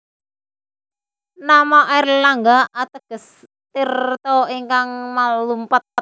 Nama Airlangga ateges tirta ingkang malumpat